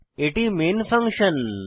এটি main function